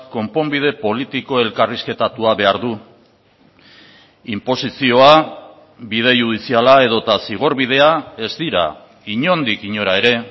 konponbide politiko elkarrizketatua behar du inposizioa bide judiziala edota zigor bidea ez dira inondik inora ere